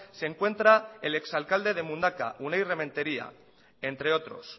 se encuentra el ex alcalde de mundaka unai rementeria entre otros